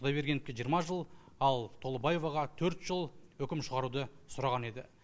құдайбергеновке жиырма жыл ал толыбаеваға төрт жыл үкім шығаруды сұраған еді